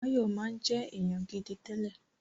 Báyọ̀ máa ń jẹ́ èèyàn gidi tẹ́lẹ̀